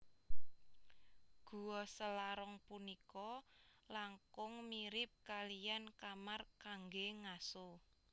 Gua Selarong punika langkung mirip kaliyan kamar kanggé ngaso